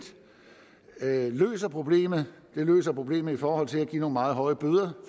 løser problemet det løser problemet i forhold til at give nogle meget høje bøder